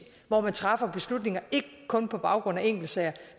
hvor man træffer beslutninger ikke kun på baggrund af enkeltsager